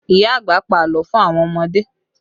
Ìyá àgbà pa àlọ́ fún àwọn ọmọdé